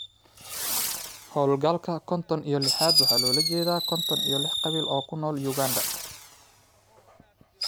Hawlgalka konton iyo lixad waxa loola jeedaa konton iyo lix qabiil oo ku nool Uganda.